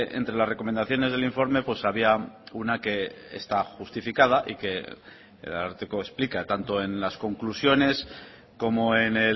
entre las recomendaciones del informe pues había una que está justificada y que el ararteko explica tanto en las conclusiones como en